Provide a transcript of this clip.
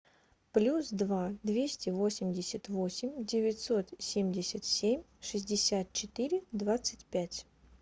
плюс два двести восемьдесят восемь девятьсот семьдесят семь шестьдесят четыре двадцать пять